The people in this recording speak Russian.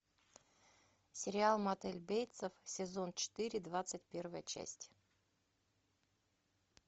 сериал мотель бейтсов сезон четыре двадцать первая часть